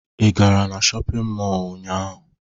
Ị gara na shọpịn mọọ ụnyaahụ?